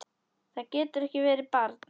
Það getur ekki verið, barn!